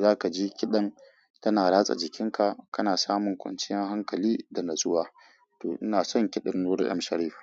za kaji kiɗan tana ratsa jikinka, kana samun kwanciyar hankali da natsuwa. To ina son kiɗan Nura M Sharif.